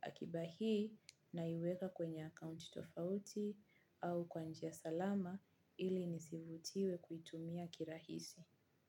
Akiba hii naiweka kwenye account tofauti au kwa njia salama ili nisivutiwe kuitumia kirahisi.